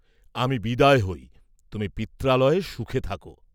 আমি বিদায় হই, তুমি পিত্রালয়ে সুখে থাক।